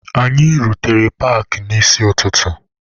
Anyị rutere paakị n'isi ụtụtụ.